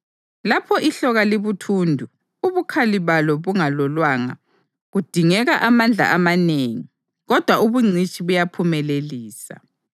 Lapho ihloka libuthundu ubukhali balo bungalolwanga, kudingeka amandla amanengi kodwa ubungcitshi buyaphumelelisa.